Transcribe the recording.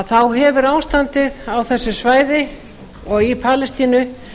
þá hefur ástandið á þessu svæði og í palestínu